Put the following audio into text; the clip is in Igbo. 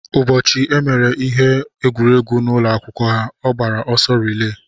Ụbọchị emere ihe egwuregwu n'ụlọ akwụkwọ ha, ọ gbara ọsọ rilee.